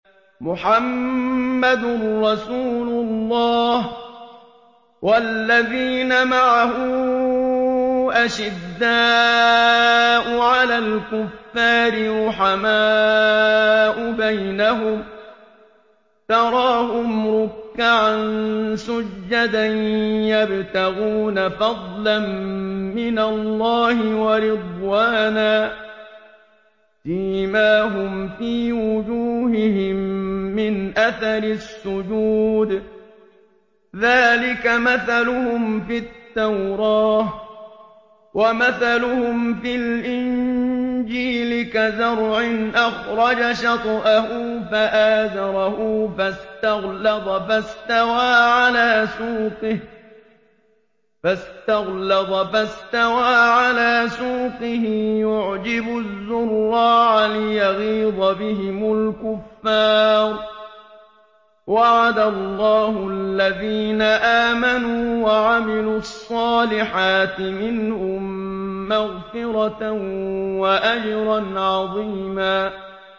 مُّحَمَّدٌ رَّسُولُ اللَّهِ ۚ وَالَّذِينَ مَعَهُ أَشِدَّاءُ عَلَى الْكُفَّارِ رُحَمَاءُ بَيْنَهُمْ ۖ تَرَاهُمْ رُكَّعًا سُجَّدًا يَبْتَغُونَ فَضْلًا مِّنَ اللَّهِ وَرِضْوَانًا ۖ سِيمَاهُمْ فِي وُجُوهِهِم مِّنْ أَثَرِ السُّجُودِ ۚ ذَٰلِكَ مَثَلُهُمْ فِي التَّوْرَاةِ ۚ وَمَثَلُهُمْ فِي الْإِنجِيلِ كَزَرْعٍ أَخْرَجَ شَطْأَهُ فَآزَرَهُ فَاسْتَغْلَظَ فَاسْتَوَىٰ عَلَىٰ سُوقِهِ يُعْجِبُ الزُّرَّاعَ لِيَغِيظَ بِهِمُ الْكُفَّارَ ۗ وَعَدَ اللَّهُ الَّذِينَ آمَنُوا وَعَمِلُوا الصَّالِحَاتِ مِنْهُم مَّغْفِرَةً وَأَجْرًا عَظِيمًا